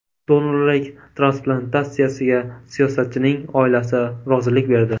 Donorlik transplantatsiyasiga siyosatchining oilasi rozilik berdi.